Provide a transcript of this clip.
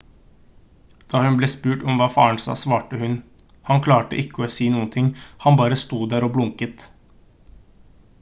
da hun ble spurt om hva faren sa svarte hun: «han klarte ikke å si noen ting han bare sto der og blunket»